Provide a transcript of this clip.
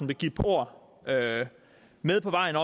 vil give et par ord med på vejen